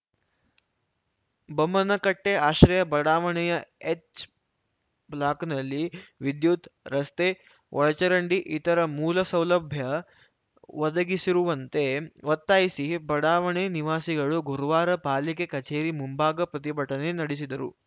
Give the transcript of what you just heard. ಬೊಮ್ಮನಕಟ್ಟೆಆಶ್ರಯ ಬಡಾವಣೆಯ ಎಚ್‌ ಬ್ಲಾಕ್‌ನಲ್ಲಿ ವಿದ್ಯುತ್‌ ರಸ್ತೆ ಒಳಚರಂಡಿ ಇತರ ಮೂಲಸೌಲಭ್ಯ ಒದಗಿಸಿರುವಂತೆ ಒತ್ತಾಯಿಸಿ ಬಡಾವಣೆ ನಿವಾಸಿಗಳು ಗುರುವಾರ ಪಾಲಿಕೆ ಕಚೇರಿ ಮುಂಭಾಗ ಪ್ರತಿಭಟನೆ ನಡೆಸಿದರು